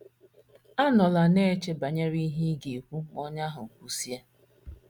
Anọla na - eche banyere ihe ị ga - ekwu ma onye ahụ kwusịa.